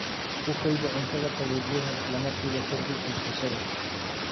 Ku kaydi cuntada qaboojiyaha isla markiiba ka dib iibsashada.